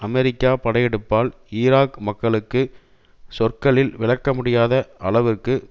அமெரிக்க படையெடுப்பால் ஈராக் மக்களுக்கு சொற்களில் விளக்க முடியாத அளவுக்கு